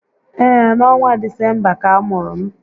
Ee, n'ọnwa Disemba ka a mụrụ m